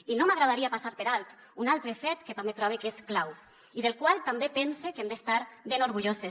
i no m’agradaria passar per alt un altre fet que també trobe que és clau i del qual també pense que hem d’estar ben orgulloses